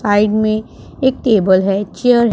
side में एक table है चेयर --